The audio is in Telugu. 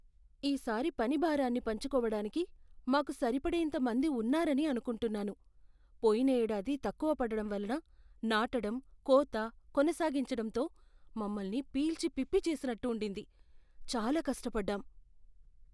"ఈ సారి పని భారాన్ని పంచుకోవడానికి మాకు సరిపడేంత మంది ఉన్నారని అనుకుంటున్నాను. పోయిన ఏడాది తక్కువ పడడం వలన నాటడం, కోత, కొనసాగించడంతో మమ్మల్ని పీల్చిపిప్పి చేసినట్టు ఉండింది, చాలా కష్టపడ్డాం".